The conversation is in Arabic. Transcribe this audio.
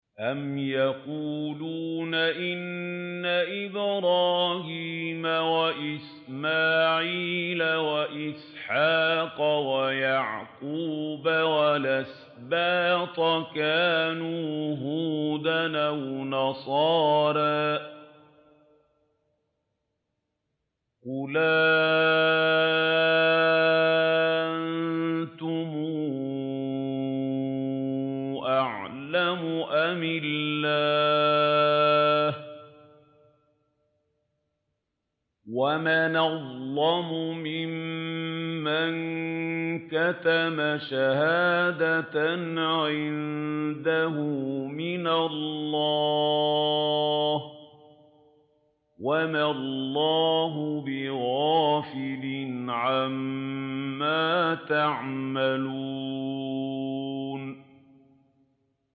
أَمْ تَقُولُونَ إِنَّ إِبْرَاهِيمَ وَإِسْمَاعِيلَ وَإِسْحَاقَ وَيَعْقُوبَ وَالْأَسْبَاطَ كَانُوا هُودًا أَوْ نَصَارَىٰ ۗ قُلْ أَأَنتُمْ أَعْلَمُ أَمِ اللَّهُ ۗ وَمَنْ أَظْلَمُ مِمَّن كَتَمَ شَهَادَةً عِندَهُ مِنَ اللَّهِ ۗ وَمَا اللَّهُ بِغَافِلٍ عَمَّا تَعْمَلُونَ